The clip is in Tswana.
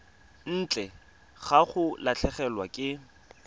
ntle ga go latlhegelwa ke